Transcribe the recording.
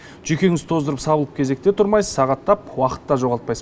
жүйкеңізді тоздырып сабылып кезекте тұрмайсыз сағаттап уақыт та жоғалтпайсыз